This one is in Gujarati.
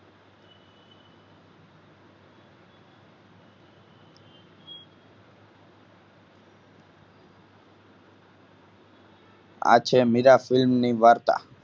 આ છે મીરા film ની વાર્તા